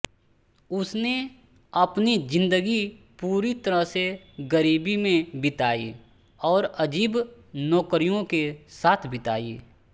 उसने अपनी ज़िंदगी पूरी तरह से गरीबी में बिताई और अजीब नौकरियों के साथ बिताई